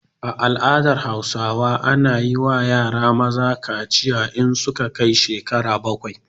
A al'ada hausawa ana yiwa yara maza kaciya in su ka kai shekara bakwai